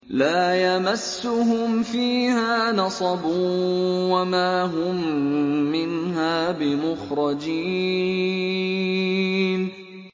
لَا يَمَسُّهُمْ فِيهَا نَصَبٌ وَمَا هُم مِّنْهَا بِمُخْرَجِينَ